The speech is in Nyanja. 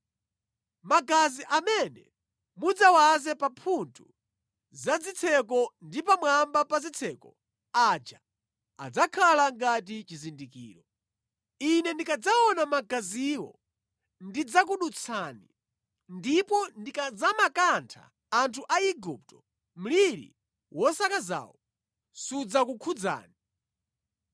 Magazi amene mudzawaze pa mphuthu za zitseko ndi pamwamba pa zitseko aja adzakhala ngati chizindikiro. Ine ndikadzaona magaziwo ndidzakudutsani, ndipo ndikadzamakantha anthu a Igupto, mliri wosakazawu sudzakukhudzani.